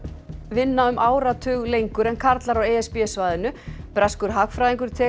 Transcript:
vinna um áratug lengur en karlar á e s b svæðinu breskur hagfræðingur